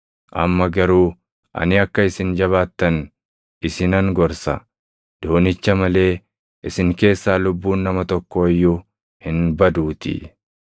Amma garuu ani akka isin jabaattan isinan gorsa; doonicha malee isin keessaa lubbuun nama tokkoo iyyuu hin baduutii.